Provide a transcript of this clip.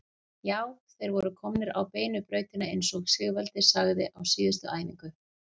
Já, þeir voru komnir á beinu brautina eins og Sigvaldi sagði á síðustu æfingu.